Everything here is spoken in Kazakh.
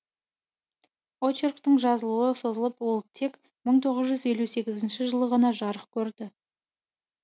очерктің жазылуы созылып ол тек мың тоғыз жүз елу сегіз жылы ғана жарық көрді